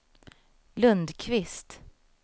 Lundqvist